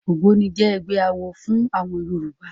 Ògbóni jẹ́ ẹgbẹ́ awo fún àwọn Yorùbá.